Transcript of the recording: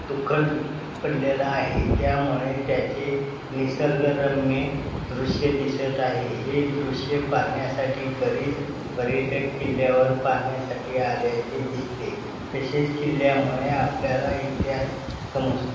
धुक्कट पडलेला आहे त्यामुळे त्याचे निसर्गरम्य दृश्य दिसत आहे हे दृश्य पाहण्यासाठी बरीच पर्यटक किल्ल्यावर पाहण्यासाठी आल्याचे दिसते तसेच किल्ल्यामुळे आपल्याला इतिहास समज --